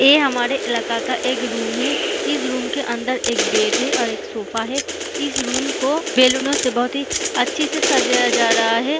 ये हमारे इलाका का एक रूम है इस रूम के अंदर एक बेड है और एक सोफा है इस रूम को बैलूनों से बहुत ही अच्छे से सजाया जा रहा है।